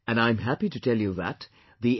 And I'm happy to tell you that the N